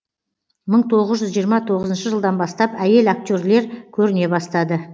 мың тоғыз жүз жиырма тоғызыншы жылдан бастап әйел актерлер көріне бастады